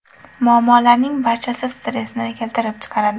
Muammolarning barchasi stressni keltirib chiqaradi.